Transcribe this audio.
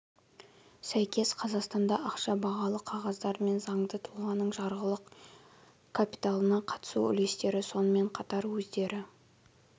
сәйкес қазақстанда ақша бағалы қағаздар мен заңды тұлғаның жарғылық капиталына қатысу үлестері сонымен қатар өздері